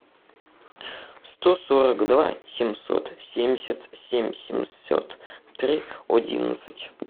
сто сорок два семьсот семьдесят семь семьсот три одиннадцать